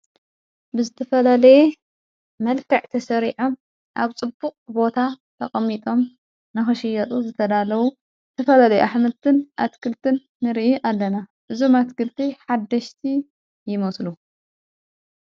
ብዝተፈለለየ መልካዕ ተሠሪዐ ኣብ ጽቡቕ ቦታ ተቐሚጦም ንኸሽየጡ ዘተዳለዉ ትፈለለየ ኣኅምልትን ኣትክልትን ንርኢ ኣለና እዙ ማትክልቲ ሓደሽቲ ይሞስሉ።